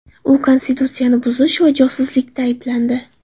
U konstitutsiyani buzish va josuslikda ayblandi.